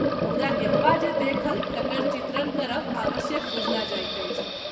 मुदा एतवा जे देखल तकर चित्रण करब आवश्यक बुझना जाइत अछि।